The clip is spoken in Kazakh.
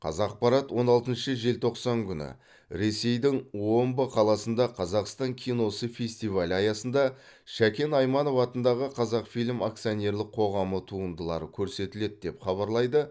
қазақпарат он алтыншы желтоқсан күні ресейдің омбыда қаласында қазақстан киносы фестивалі аясында шәкен айманов атындағы қазақфильм акционерлік қоғам туындылары көрсетіледі деп хабарлайды